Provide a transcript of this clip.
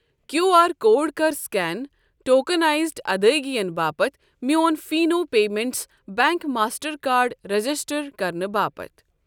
Q R code کَر scan tokenised ادٲیگین باپتھ میون فیٖٚنو payments bank Mastercard register کرنہٕ باپتھ۔ ۔